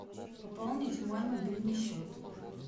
пополнить мой мобильный счет